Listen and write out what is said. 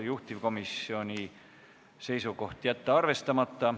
Juhtivkomisjoni seisukoht: jätta arvestamata.